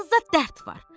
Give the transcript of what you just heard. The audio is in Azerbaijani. Canınıza dərd var.